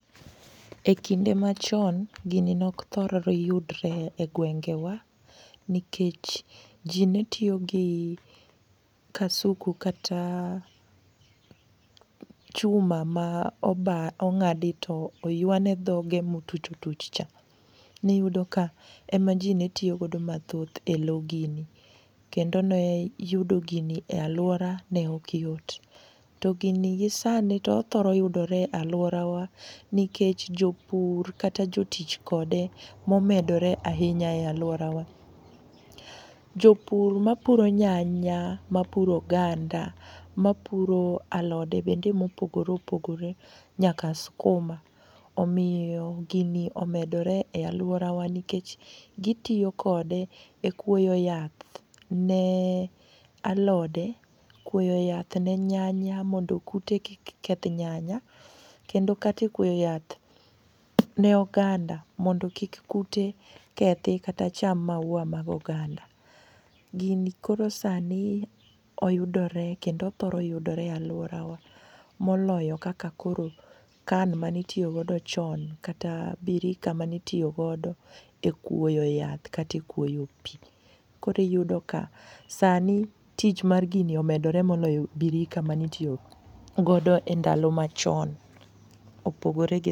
E kinde machon gini nokthor yudre e gwengewa nikech ji ne tiyogi kasuku kata chuma ma ong'adi to oywane dhoge motuchotuch cha. Niyudo ka emaji ne tiyogo mathothj e lo gini kendo ne yudo gini e laora new okyot. To gini gisani othoro yudore alworawa nikech jopur kata jotich kode momedore ahinya e alworawa. Jopur mapuro nyanya, mapuro oganda, mapuro alode bende mopogore opogore nyaka skuma omiyo gini omedore alworawa nikech gitiyo kode e kuoyo yath ne alode, kuoyo yath ne nyanya mondo kute kik keth nyanya kendo kata e kuoyo yath ne oganda mondo kik kute kethi kata cham maua mag oganda. Gini koro sani oyudore kendo thoro yuidore e alworawa moloyo kaka koro can manitiyogodo chon kata birika manitiyogodo e kuoyo yath kata e kuoyo pi koro iyudo ka sani tich mar gini omedore moloyo birika manitiyogodo e ndalo machon, opogore gi..